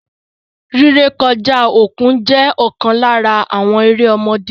Rí rẹ̀kọ̀ja okun jẹ̀ okan lárà àwọn èrè ọ̀mọdé.